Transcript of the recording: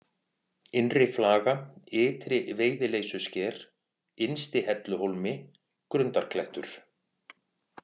Innri-Flaga, Ytri-Veiðileysusker, Innsti-Helluhólmi, Grundarklettur